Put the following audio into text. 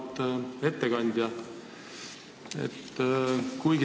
Auväärt ettekandja!